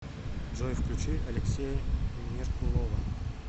джой включи алексея меркулова